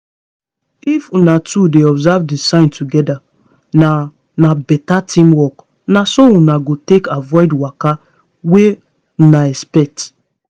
if una two dey observe the signs together na na better teamwork na so una go take avoid waka wey una expect